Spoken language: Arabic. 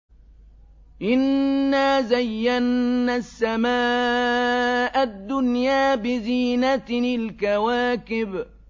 إِنَّا زَيَّنَّا السَّمَاءَ الدُّنْيَا بِزِينَةٍ الْكَوَاكِبِ